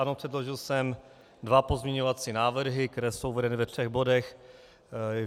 Ano, předložil jsem dva pozměňovací návrhy, které jsou uvedeny ve třech bodech.